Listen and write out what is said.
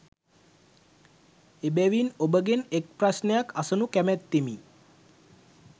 එබැවින් ඔබගෙන් එක් ප්‍රශ්නයක් අසනු කැමැත්තෙමි